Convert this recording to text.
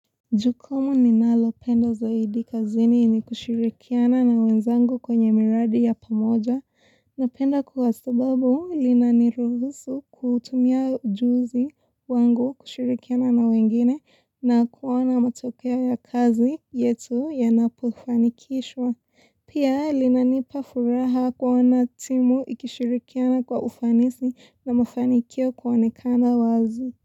Jukumu ninalopenda zaidi kazini ni kushirikiana na wenzangu kwenye miradi ya pamoja. Napenda kwa sababu inaniruhusu kuutumia ujuzi wangu kushirikiana na wengine na kuona matokea ya kazi yetu yanapofanikishwa. Pia linanipa furaha kuona timu ikishirikiana kwa ufanisi na mafanikio kuonekana wazi.